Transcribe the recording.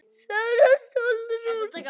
Sara Sólrún.